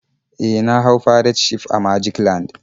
E, na hau pirate ship a magic land.